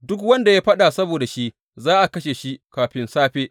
Duk wanda ya yi faɗa saboda shi za a kashe shi kafin safe.